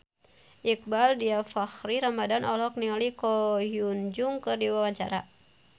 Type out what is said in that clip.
Iqbaal Dhiafakhri Ramadhan olohok ningali Ko Hyun Jung keur diwawancara